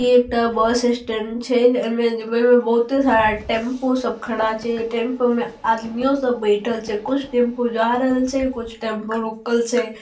ई एकटा bus stand छै। अइमे जेमो बहुते {बहुत सारा टेम्पो खड़ा छै । टेम्पो में आदमियों सब बेठल छै । कुछ टेम्पो जा रेल छै कुछ टेम्पो रुकल छै।}